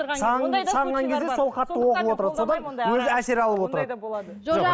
сағынған кезде сол хатты оқып отырады содан өзі әсер алып отырады